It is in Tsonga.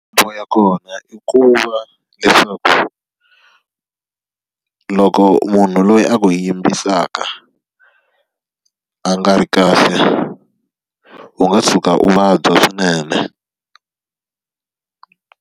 Makhombo ya kona i ku va leswaku, loko munhu loyi a ku yimbisaka a nga ri kahle u nga tshuka u vabya swinene.